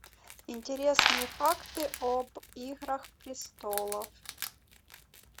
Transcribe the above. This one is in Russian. интересные факты об играх престолов